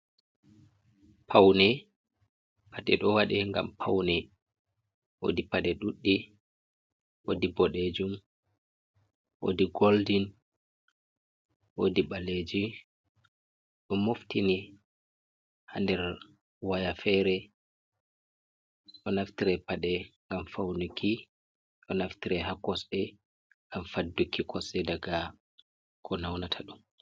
Pawne, paɗe ɗo waɗe ngam pawne, woodi paɗe duɗɗi, woodi boɗeejum, woodi goldin ,woodi ɓaleeji .Ɗo moftini haa nder waya feere ,ɗo naftire paɗe ngam fawniki, ɗo naftire haa kosɗe ngam fadduki kosɗe daga ko nawnata ɗum.